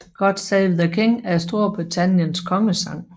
God Save the King er Storbritanniens kongesang